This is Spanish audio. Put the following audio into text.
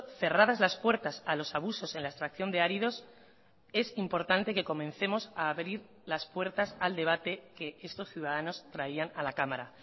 cerradas las puertas a los abusos en la extracción de áridos es importante que comencemos a abrir las puertas al debate que estos ciudadanos traían a la cámara